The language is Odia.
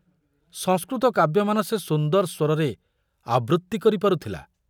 ସଂସ୍କୃତ କାବ୍ୟମାନ ସେ ସୁନ୍ଦର ସ୍ବରରେ ଆବୃତ୍ତି କରିପାରୁଥିଲା।